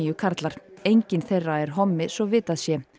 karlar enginn þeirra er hommi svo vitað sé